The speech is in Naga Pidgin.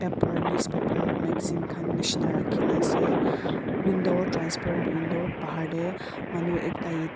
itu newspaper magazine khan nishina rakhina ase window transparent window bahar dey manu ekta.